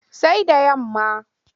Sai da yamma.